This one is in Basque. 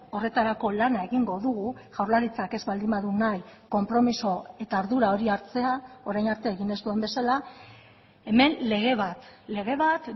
horretarako lana egingo dugu jaurlaritzak ez baldin badu nahi konpromiso eta ardura hori hartzea orain arte egin ez duen bezala hemen lege bat lege bat